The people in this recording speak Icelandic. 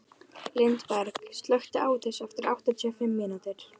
Lindberg, slökktu á þessu eftir áttatíu og fimm mínútur.